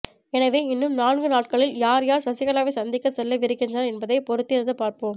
எனவே இன்னும் நான்கு நாட்களில் யார் யார் சசிகலாவை சந்திக்க செல்லவிருக்கின்றனர் என்பதை பொறுத்திருந்து பார்ப்போம்